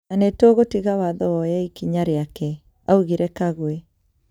Na nĩtũgũtiga watho woye ikinya riake," augire Kagwe.